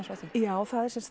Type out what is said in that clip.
frá því já